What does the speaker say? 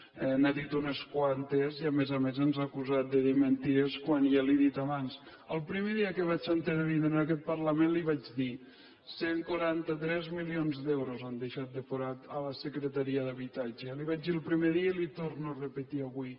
n’ha dit unes quantes i a més a més ens ha acusat de dir mentides quan ja li ho he dit abans el primer que vaig intervindre en aquest parlament li vaig dir cent i quaranta tres milions d’euros han deixat de forat a la secretaria d’habitatge li ho vaig dir el primer dia i li ho torno a repetir avui